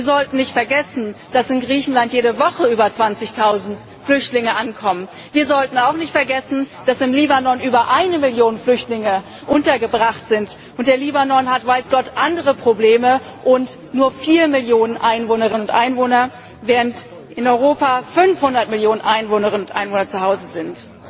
Wir sollten nicht vergessen, dass in Griechenland jede Woche über zwanzigtausend Flüchtlinge ankommen. Wir sollten auch nicht vergessen, dass im Libanon über eine Million Flüchtlinge untergebracht sind, und der Libanon hat weiß Gott andere Probleme und nur vier Millionen Einwohnerinnen und Einwohner, während in Europa 500 Millionen Einwohnerinnen und Einwohner zu Hause